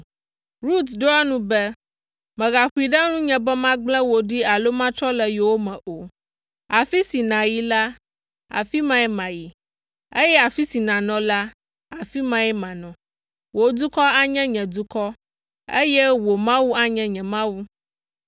Rut ɖo eŋu be, “Mègaƒoe ɖe nunye be magblẽ wò ɖi alo matrɔ le yowòme o. Afi si nàyi la, afi mae mayi, eye afi si nànɔ la, afi mae manɔ. Wò dukɔ anye nye dukɔ, eye wò Mawu anye nye Mawu.